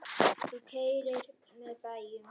Þú keyrir með bæjum.